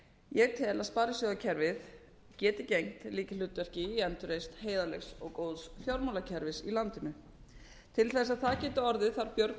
ég tel að sparisjóðakerfið geti gegnt lykilhlutverki í endurreisn heiðarlegs og góðs fjármálakerfis í landinu til þess að það geti orðið þarf björgun